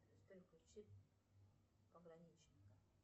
сбер включи пограничника